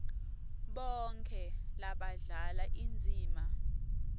bonkhe labadlala indzima